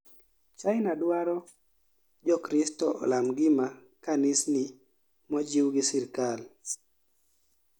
china dwaro jokristo olam gima kanisni mojiw gi serikal